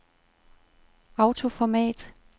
autoformat